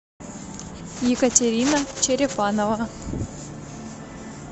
екатерина черепанова